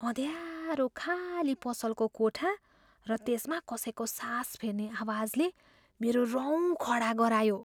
अँध्यारो खाली पसलको कोठा र त्यसमा कसैको सास फेर्ने आवाजले मेरो रौँ खडा गरायो।